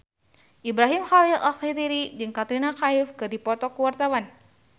Ibrahim Khalil Alkatiri jeung Katrina Kaif keur dipoto ku wartawan